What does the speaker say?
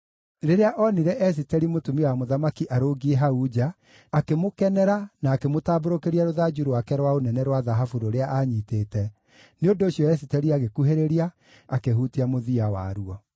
Rĩrĩa onire Esiteri, mũtumia wa mũthamaki arũngiĩ hau nja, akĩmũkenera na akĩmũtambũrũkĩria rũthanju rwake rwa ũnene rwa thahabu rũrĩa aanyiitĩte. Nĩ ũndũ ũcio Esiteri agĩkuhĩrĩria, akĩhutia mũthia waruo.